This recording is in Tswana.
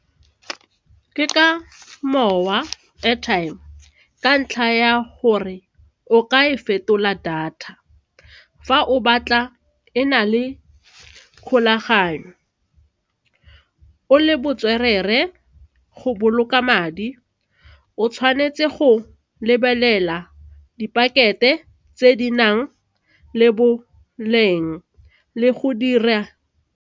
Ke ka mowa, airtime ka ntlha ya gore o ka e fetola data fa o batla e na le kgolaganyo o le botswerere, go boloka madi o tshwanetse go lebelela di pakete tse di nang le boleng le go dira.